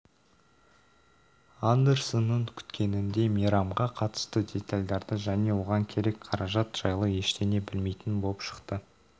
андерсонның күткеніндей мейрамға қатысты детальдарды және оған керек қаражат жайлы ештеңе білмейтін боп шықты